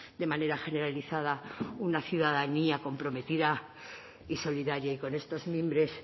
de manera generalizada una ciudadanía comprometida y solidaria y con estos mimbres